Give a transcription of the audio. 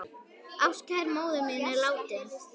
Ástkær móðir mín er látin.